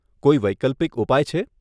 કોઈ વૈકલ્પિક ઉપાય છે?